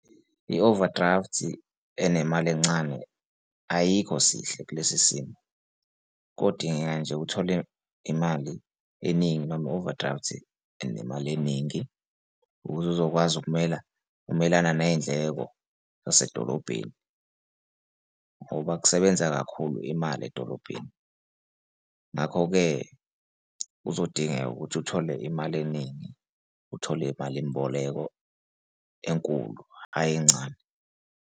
I-overdraft enemali encane ayikho sihle kulesi simo, kodingeka nje uthole imali eningi noma i-overdraft enemali eningi ukuze uzokwazi ukumela, ukumelana ney'ndleko zasedolobheni ngoba kusebenza kakhulu imali edolobheni. Ngakho-ke kuzodingeka ukuthi uthole imali eningi, uthole imalimboleko enkulu, hhayi encane.